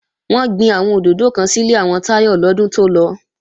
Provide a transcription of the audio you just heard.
Wọ́n gbin àwọn òdòdó kan sílé àwọn Táyọ lọ́dún tó lọ